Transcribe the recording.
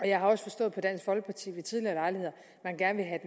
jeg har også forstået på dansk folkeparti ved tidligere lejligheder at man gerne